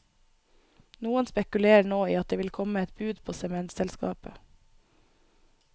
Noen spekulerer nå i at det vil komme et bud på sementselskapet.